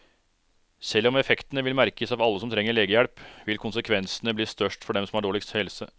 Selv om effektene vil merkes av alle som trenger legehjelp, vil konsekvensene bli størst for dem som har dårligst helse.